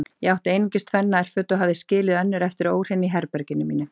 Ég átti einungis tvenn nærföt og hafði skilið önnur eftir óhrein í herberginu mínu.